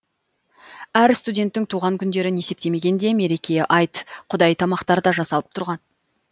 әр студенттің туған күндерін есептемегенде мереке айт құдай тамақтар да жасалып тұратын